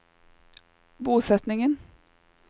bosetningen